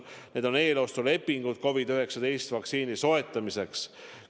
Need on eelostulepingud COVID-19 vaktsiini soetamiseks.